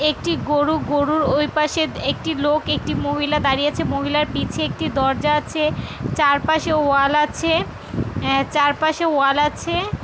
একটি গরু গরুর ওইপাশে একটি লোক একটি মহিলা দাঁড়িয়ে আছে | মহিলার পিছে একটি দরজা আছে চারপাশে ওয়াল আছে উম চারপাশে ওয়াল আছে |